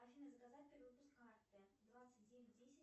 афина заказать перевыпуск карты двадцать девять десять